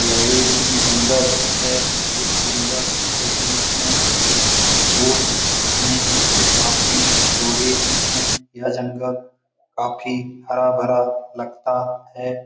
यह एक जंगल है इस जंगल के बीच में एक रोड हैं जो काफी चौड़े है यह जंगल काफी हरा-भरा लगता है।